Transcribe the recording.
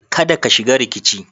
Kada ka shiga rikici.